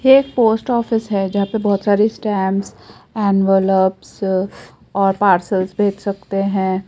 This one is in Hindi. एक पोस्ट ऑफिस है जहां पे बोहोत सारी स्टंप्स एनवेलप्स और पार्सल्स भेज सकते हैं।